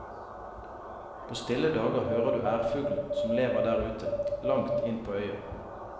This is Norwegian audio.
På stille dager hører du ærfuglen, som lever der ute, langt inn på øya.